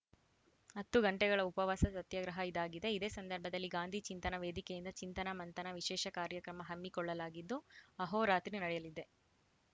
ಹತ್ತು ಗಂಟೆಗಳ ಉಪವಾಸ ಸತ್ಯಾಗ್ರಹ ಇದಾಗಿದೆ ಇದೇ ಸಂದರ್ಭದಲ್ಲಿ ಗಾಂಧಿ ಚಿಂತನಾ ವೇದಿಕೆಯಿಂದ ಚಿಂತನ ಮಂಥನ ವಿಶೇಷ ಕಾರ್ಯ ಕ್ರಮ ಹಮ್ಮಿಕೊಳ್ಳಲಾಗಿದ್ದು ಅಹೋರಾತ್ರಿ ನೆಡೆಯಲಿದೆ